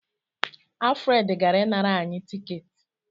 Alfred gara ịnara anyị tiketi.